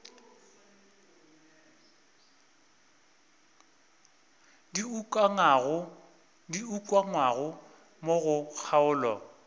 di ukangwego mo go kgaolo